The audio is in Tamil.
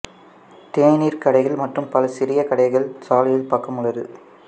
தேநீர் கடைகள் மற்றும் பல சிறிய கடைகள் சாலையில் பக்கம் உள்ளது